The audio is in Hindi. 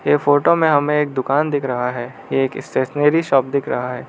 ये फोटो में हमें एक दुकान दिख रहा है एक स्टेशनरी शॉप दिख रहा है।